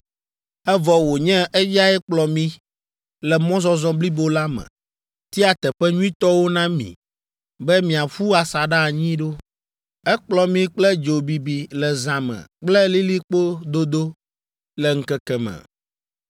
evɔ wònye eyae kplɔ mi le mɔzɔzɔ blibo la me, tia teƒe nyuitɔwo na mi be miaƒu asaɖa anyi ɖo. Ekplɔ mi kple dzo bibi le zã me kple lilikpo dodo le ŋkeke me.